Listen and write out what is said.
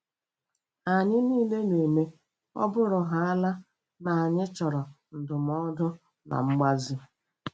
Anyị niile na-eme - ọ bụrụhaala na anyị chọrọ ndụmọdụ na mgbazi.